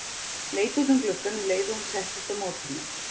Leit út um gluggann um leið og hún settist á móti mér.